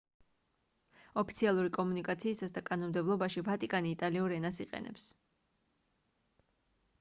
ოფიციალური კომუნიკაციისას და კანონმდებლობაში ვატიკანი იტალიურ ენას იყენებს